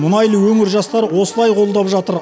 мұнайлы өңір жастары осылай қолдап жатыр